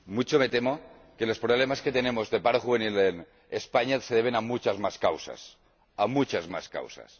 Mucho me temo que los problemas que tenemos de paro juvenil en España se deben a muchas más causas.